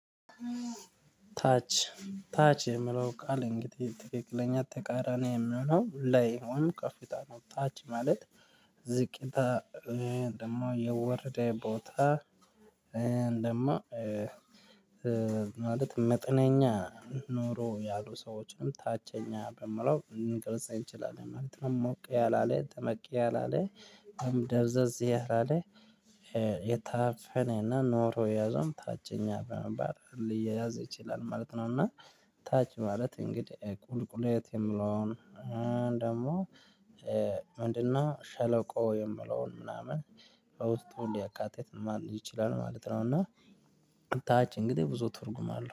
ታች ታች የሚለው ቃል እንግዲህ ትክክለኛ ተቃራኒ የሚለው ላይ ወይም ከፍታ ነው ታች ማለት ዝቅታ ደግሞ የወረደ ቦታ እንደማ ማለት መጠነኛ ኑሮ ያሉ ሰዎችንም ታቸኛ በሚለው ልንገልጽ እንችላለን ማለት ነው። ሞቅ ያላለ ጠበቅ ያላለ ደብዘዝ ያላለ የታፈነና ኖሮ የያዘውም ታችኛ በመባል ሊያዝ ይችላል ማለት ነው። እና ታች ማለት እንግዲህ ቁልቁለት የሚለው ደግሞ ምንድነው? ሸለቆ የሚለውን ምናምን በውስጡ ሊያካትት ይችላል ማለት ነው። እና ታች እንግዲህ ብዙ ትርጉም አለው